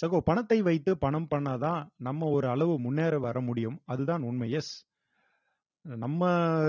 சகோ பணத்தை வைத்து பணம் பண்ணா தான் நம்ம ஒரு அளவு முன்னேற வரமுடியும் அதுதான் உண்மை yes நம்ம